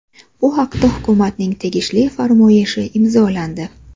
Bu haqda hukumatning tegishli farmoyishi imzolandi.